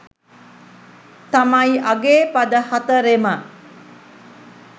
තමයි අගේ පද හතරෙම.